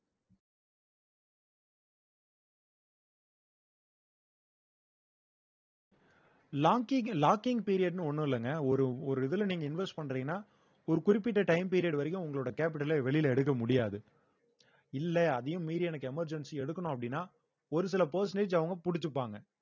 locking locking period ன்னு ஒன்னும் இல்லைங்க ஒரு ஒரு இதுல நீங்க invest பண்றீங்கன்னா ஒரு குறிப்பிட்ட time period வரைக்கும் உங்களோட capital அ வெளியிலே எடுக்க முடியாது இல்ல அதையும் மீறி எனக்கு emergency எடுக்கணும் அப்படின்னா ஒரு சில percentage அவுங்க பிடிச்சுப்பாங்க